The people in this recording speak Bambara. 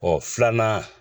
Ɔ filanan